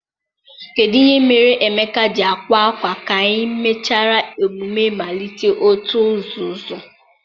kedụ ihe mere Emeka ji akwa akwa ka e mechara emume mmalite òtù nzuzo?